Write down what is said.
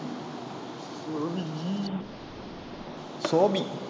Sophie